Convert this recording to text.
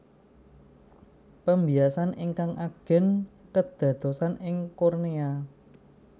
Pembiasan ingkang ageng kedadosan ing kornea